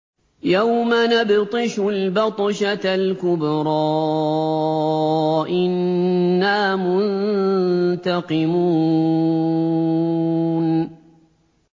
يَوْمَ نَبْطِشُ الْبَطْشَةَ الْكُبْرَىٰ إِنَّا مُنتَقِمُونَ